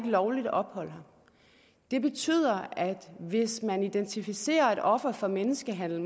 lovligt ophold det betyder at hvis man identificerer en offer for menneskehandel